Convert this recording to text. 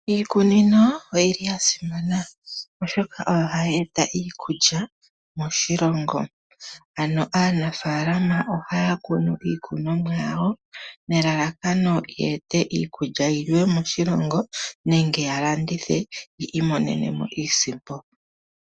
Iikunino oya simana, oshoka oyo hayi eta iikulya moshilongo. Aanafaalama ohaya kunu iikunomwa yawo nelalakano ye ete iikulya yi liwe moshilongo nenge ya landithe yi imonene mo iisimpo.